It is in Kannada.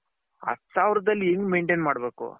ಹತ್ತು ಸಾವಿರದಲ್ಲಿ ಹೆಂಗೆ maintain ಮಾಡ್ಬೇಕು.